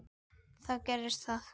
Þá gerðist það.